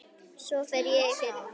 Svo fór ég í fyrra.